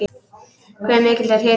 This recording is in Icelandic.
Hve mikill er hitinn?